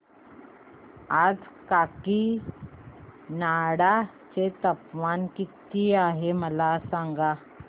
आज काकीनाडा चे तापमान किती आहे मला सांगा